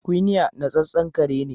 Quinnie natsetsen kare ne